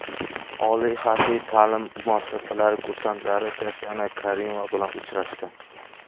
Oliy harbiy ta’lim muassasasi kursantlari Tatyana Karimova bilan uchrashdi .